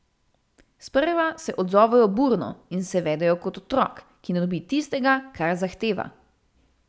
Sprva se odzovejo burno in se vedejo kot otrok, ki ne dobi tistega, kar zahteva.